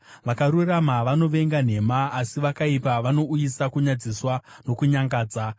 Vakarurama vanovenga nhema, asi vakaipa vanouyisa kunyadziswa nokunyangadza.